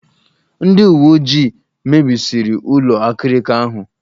Ndị uwe ojii mebisiri ụlọ akịrịka ahụ.